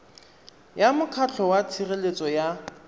ya mokgatlho wa tshireletso ya